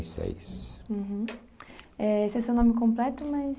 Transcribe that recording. Uhum, é, esse é o seu nome completo, mas...